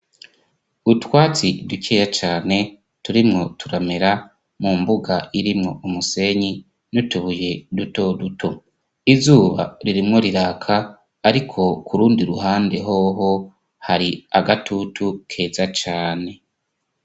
utwatsi dukeya cane turimwo turamera mu mbuga irimwo umusenyi nutubuye duto duto izuba ririmwo riraka ariko kurundi ruhande hoho hari agatutu keza cane